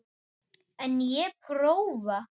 En ég prófa.